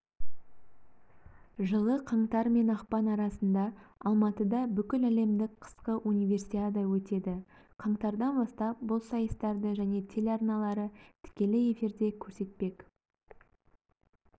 жылы қаңтар мен ақпан арасында алматыда бүкіләлемдік қысқы универсиада өтеді қаңтардан бастап бұл сайыстарды және телеарналары тікелей эфирде көрсетпек